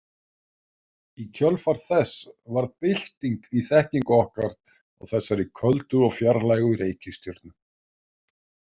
Í kjölfar þess varð bylting í þekkingu okkar á þessari köldu og fjarlægu reikistjörnu.